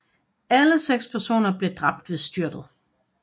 Alle seks personer blev dræbt ved styrtet